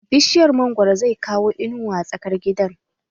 Bishiyar mangwaro zai kawo inuwa a tsakar gidan